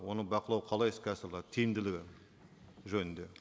оны бақылау қалай іске асырылады тиімділігі жөнінде